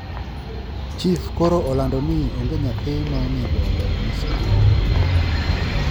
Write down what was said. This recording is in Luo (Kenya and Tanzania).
Chif koro olando ni onge nyathi maonego oleu ne sikul